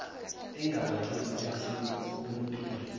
engabagcini bamasiko nosikompilo